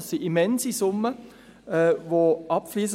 Es sind immense Summen, die abfliessen.